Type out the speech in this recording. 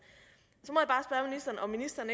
om ministeren